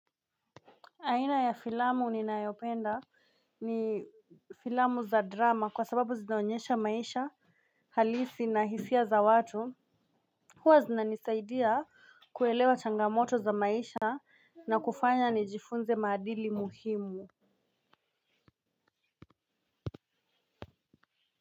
Aina ya filamu ni nayopenda ni filamu za drama kwa sababu zinaonyesha maisha halisi na hisia za watu huwa zinanisaidia kuelewa changamoto za maisha na kufanya nijifunze maadili muhimu.